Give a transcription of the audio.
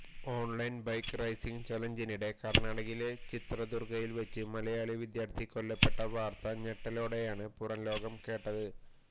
online bike riding ചലഞ്ചിനിടെ കർണാടകയിലെ ചിത്രദുർഗയിൽ വെച്ച് മലയാളി വിദ്യാർഥി കൊല്ലപ്പെട്ട വാർത്ത ഞെട്ടലോടെയാണ് പുറം ലോകം കേട്ടത്